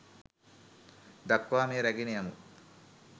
දක්වා මෙය රැගෙන යමු